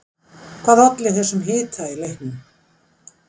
Hvað olli þessum hita í leiknum?